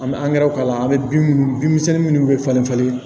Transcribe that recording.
An bɛ angɛrɛ k'a la an bɛ bin minnu bin misɛnnin minnu bɛ falen falen